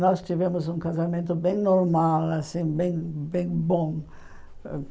Nós tivemos um casamento bem normal assim, bem bem bom.